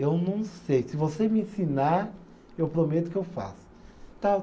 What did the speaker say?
Eu não sei, se você me ensinar, eu prometo que eu faço. Tá